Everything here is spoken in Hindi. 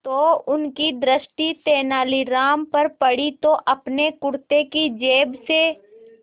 तो उनकी दृष्टि तेनालीराम पर पड़ी जो अपने कुर्ते की जेब से